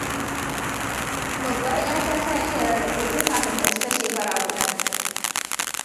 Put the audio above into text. Babbar 'yata ta iya rarrafe tun kafin ta cika shekara guda.